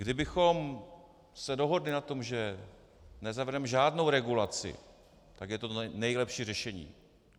Kdybychom se dohodli na tom, že nezavedeme žádnou regulaci, tak je to to nejlepší řešení.